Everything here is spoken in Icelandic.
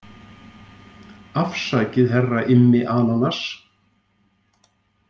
Afsakið herra Immi ananas.